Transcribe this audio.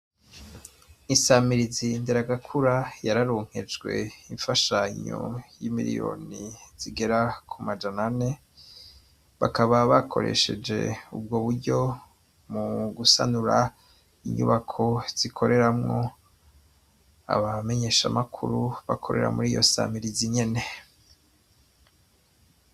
Insamirizi Nderagakura yararonkejwe imfashanyo y'imiliyoni zigera ku majana ane, bakaba bakoresheje ubwo buryo mu gusanura abamenyeshamakuru bakorera muri iryo nsamirizi nyene.